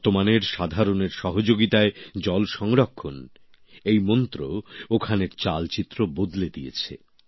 বর্তমানের সাধারণের সহযোগিতায় জল সংরক্ষণ এই মন্ত্র ওখানের চালচিত্র বদলে দিয়েছে